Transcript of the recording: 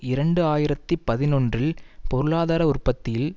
இரண்டு ஆயிரத்தி பதினொன்றில் பொருளாதார உற்பத்தியில்